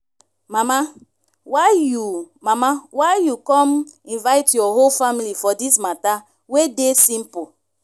mama why you mama why you come invite your whole family for dis matter wey dey simple.